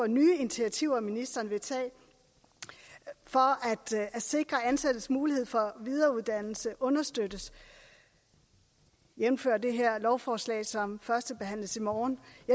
nye initiativer ministeren vil tage for at sikre at ansattes mulighed for videreuddannelse understøttes jævnfør det lovforslag som førstebehandles i morgen